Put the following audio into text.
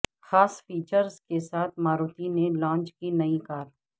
خاص فیچرسکے ساتھ ماروتی نے لانچ کی نئی کار